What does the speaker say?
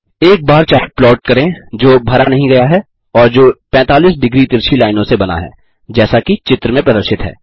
एक बार chart plot करें जो भरा नहीं गया है और जो 45 डिग्री तिरछी लाइनों से बना है जैसा कि चित्र में प्रदर्शित है